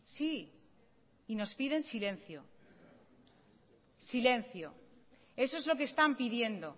sí y nos piden silencio silencio eso es lo que están pidiendo